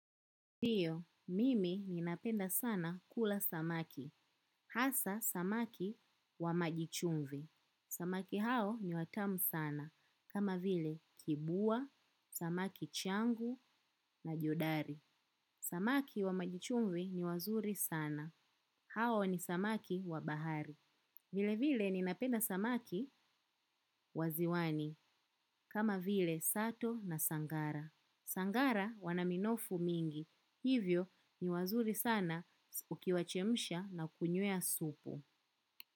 Ndio, mimi ninapenda sana kula samaki. Hasa samaki wa maji chumvi. Samaki hao ni watamu sana. Kama vile kibua, samaki changu na jodari. Samaki wa majichumvi ni wazuri sana. Hao ni samaki wa bahari. Vile vile ninapenda samaki waziwani. Kama vile sato na sangara. Sangara wanaminofu mingi. Hivyo ni wazuri sana ukiwachemisha na kunywea supu.